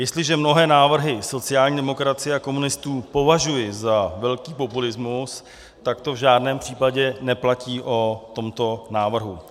Jestliže mnohé návrhy sociální demokracie a komunistů považuji za velký populismus, tak to v žádném případě neplatí o tomto návrhu.